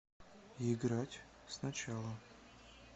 играть сначала